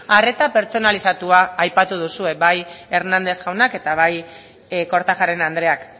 arreta pertsonalizatua aipatu duzue bai hernandez jaunak eta bai kortajarena andreak